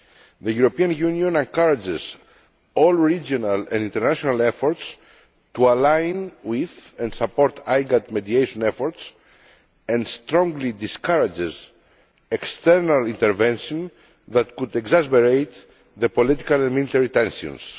The European Union encourages all regional and international efforts to align with and support IGAD mediation efforts and strongly discourages external intervention that might exacerbate the political and military tensions.